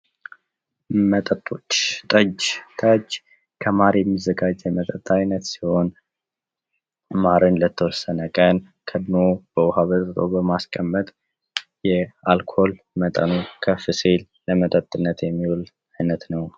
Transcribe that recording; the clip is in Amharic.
መጣጦች ጠጅ ጠጅ ከማር የሚዘጋጅ የመጠጥ አይነት ሲሆን ለተወሰነ ቀን ካድኖ በውሃ በጥብጦ በማስቀመጥ የአልኮል መጠኑ ከፍም ለመጠጥነት የሚውል ነው።